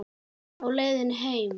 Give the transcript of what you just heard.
Á leiðinni heim?